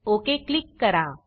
okay click करा